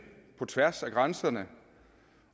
på tværs af grænserne